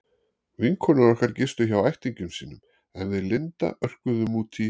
Vinkonur okkar gistu hjá ættingjum sínum en við Linda örkuðum út í